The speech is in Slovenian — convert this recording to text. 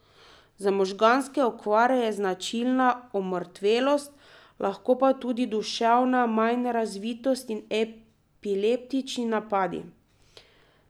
Za možganske okvare je značilna omrtvelost, lahko pa tudi duševna manjrazvitost in epileptični napadi.